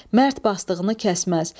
Mərd basdığını kəsməz.